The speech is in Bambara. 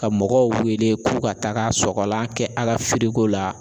Ka mɔgɔw wele ko ka taaga sɔgɔlan kɛ a ka firiko la.